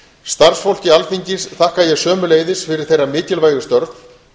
starfsfólki alþingis þakka ég sömuleiðis fyrir þeirra mikilvægu störf